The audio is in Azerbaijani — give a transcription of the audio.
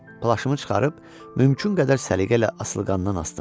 Plaşımı çıxarıb mümkün qədər səliqə ilə asılqandan asdım.